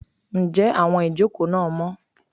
njé awón ìjokò na mó?